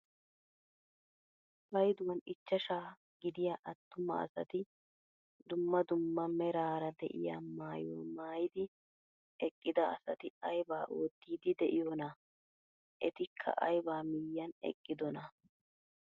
Payduwaan ichchashshaa gidiyaa attuma asati dumma dumma meraara de'iyaa maayuwaa maayidi eqqida asati aybaa oottiidi de'iyoonaa? Etikka aybaa miyiyan eqqidonaa?